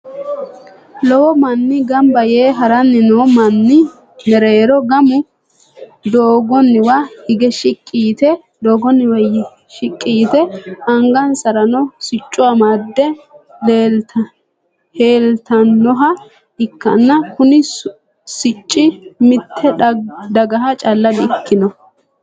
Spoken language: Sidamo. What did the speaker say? lowo manni ganba yee haranni noo manni mereero gamu doogonwa higge shiqi yitte angansaranno sicco amade heelitanoha ikanna kunni sicci mitte daggaha calla di'ikinno.